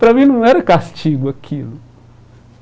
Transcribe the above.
Para mim, não era castigo aquilo.